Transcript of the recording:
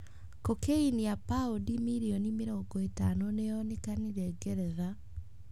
Cocaine ya paundi mirioni mĩrongo ĩtano nĩ yonekire Ngeretha.